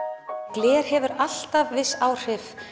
gler hefur alltaf viss áhrif